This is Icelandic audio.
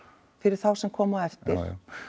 fyrir þá sem koma á eftir